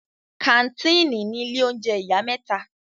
Kàńtìnì ni ilé oúnjẹ ìyá mẹ́ta.